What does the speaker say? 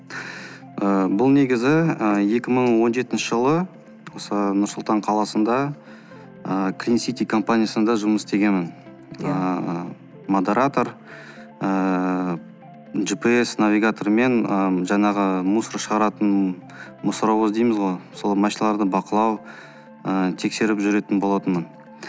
ыыы бұл негізі ыыы екі мың он жетінші жылы осы нұрсұлтан қаласында ыыы клинсити компаниясында жұмыс істегенмін ыыы модератор ыыы джипиэс навигатор мен ы жаңағы мусор шығаратын мусоровоз дейміз ғой сол машиналарды бақылау ы тексеріп жүретін болатынмын